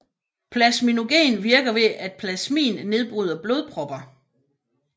Plasminogen virker ved at plasmin nedbryder blodpropper